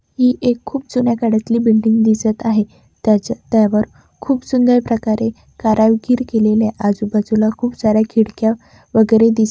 एक खूप जुन्या काळातली बिल्डिंग दिसत आहे त्याच्या-त्यावर खूप सुंदर प्रकारे कारारगिर केलेले आजू-बाजूला खूप सार्‍या खिडक्या वगैरे दिसत आहे.